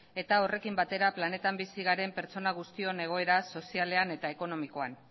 eta horrekin batera planetan bizi garen pertsona guztion egoera sozialean eta ekonomikoan